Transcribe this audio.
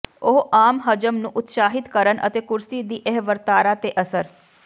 ਉਹ ਆਮ ਹਜ਼ਮ ਨੂੰ ਉਤਸ਼ਾਹਿਤ ਕਰਨ ਅਤੇ ਕੁਰਸੀ ਦੀ ਇਹ ਵਰਤਾਰਾ ਤੇ ਅਸਰ